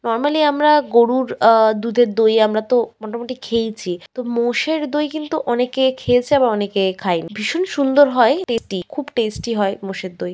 Normally আমার গরুর আহ দুধের দই আমরা তো মোটামুটি খেয়েইছি তো মোষের দই কিন্তু অনেকে খেয়েছে আবার অনেকে খায়নি ভীষণ সুন্দর হয় টেস্টি খুব টেস্টি হয় মোষের দই।